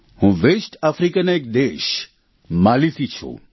હું વેસ્ટ આફ્રિકાના એક દેશ માલીથી છું